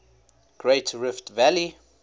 great rift valley